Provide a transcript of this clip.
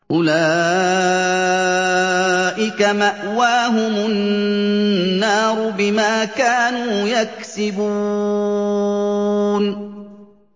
أُولَٰئِكَ مَأْوَاهُمُ النَّارُ بِمَا كَانُوا يَكْسِبُونَ